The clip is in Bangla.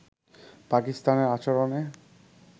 পাকিস্তানের আচরণে